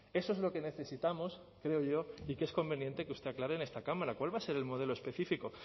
eso es lo que necesitamos creo yo y que es conveniente que usted aclare en esta cámara cuál va a ser el modelo específico